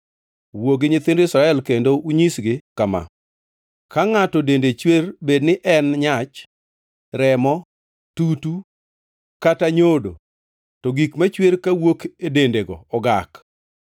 Wuo gi nyithind Israel kendo unyisgi kama: Ka ngʼato dende chwer bedni en nyach, remo, tutu, kata nyodo, to gik machwer kawuok e dendego ogak.